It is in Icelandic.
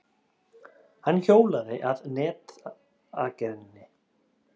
Hann hjólaði að netagerðinni.